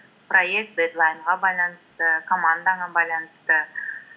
проект дедлайнға байланысты командаңа байланысты